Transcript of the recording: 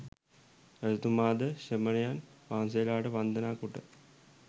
රජතුමා ද ශ්‍රමණයන් වහන්සේලාට වන්දනා කොට